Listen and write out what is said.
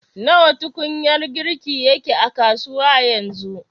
Nawa tukunyar girki yake a kasuwa yanzu